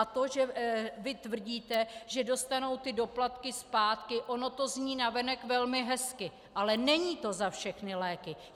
A to, že vy tvrdíte, že dostanou ty doplatky zpátky, ono to zní navenek velmi hezky, ale není to za všechny léky.